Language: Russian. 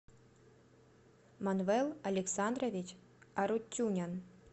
манвел александрович арутюнян